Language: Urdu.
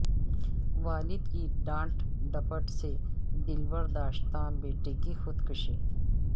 والد کی ڈانٹ ڈپٹ سے دلبرداشتہ بیٹے کی خودکشی